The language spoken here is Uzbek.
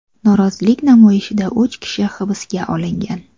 Norozilik namoyishida uch kishi hibsga olingan.